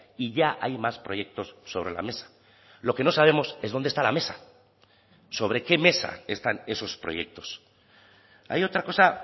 y ya hay más proyectos sobre la mesa lo que no sabemos es dónde está la mesa sobre qué mesa están esos proyectos hay otra cosa